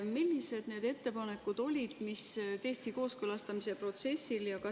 Millised need ettepanekud olid, mis tehti kooskõlastamise protsessil?